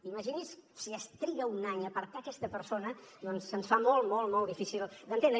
imagini’s si es triga un any a apartar aquesta persona doncs se’ns fa molt molt difícil d’entendre